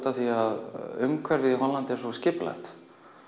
af því að umhverfið í Hollandi er svo skipulagt